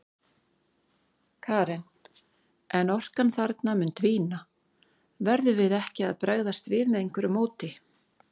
Karen: En orkan þarna mun dvína, verðum við ekki að bregðast við með einhverju móti?